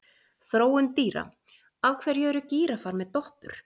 Þróun dýra Af hverju eru gíraffar með doppur?